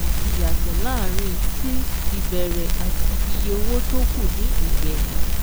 Ìyàtọ̀ láàárín tí ìbẹ̀rẹ̀ àti iye owó tó kù ní ìgbẹ̀yìn